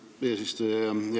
Raivo Aeg, palun!